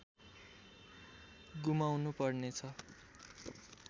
गुमाउनु पर्नेछ